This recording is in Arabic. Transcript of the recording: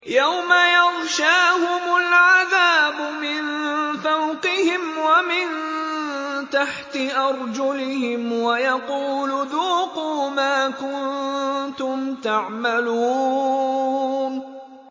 يَوْمَ يَغْشَاهُمُ الْعَذَابُ مِن فَوْقِهِمْ وَمِن تَحْتِ أَرْجُلِهِمْ وَيَقُولُ ذُوقُوا مَا كُنتُمْ تَعْمَلُونَ